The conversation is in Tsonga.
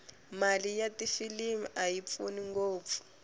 mali ya tifilimu ayi pfuni ngopfu